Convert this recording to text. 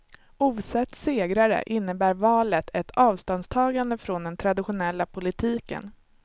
Ovsett segrare, innebär valet ett avståndstagande från den traditionella politiken.